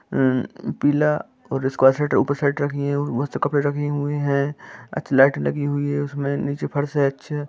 अमम पीला और इसके ऊपर साइड रखी हैं मस्त कपड़े रखे हुए हैं अच्छी लाइट लगी हुई हैं उसमे नीचे फर्श हैं। अच्छे--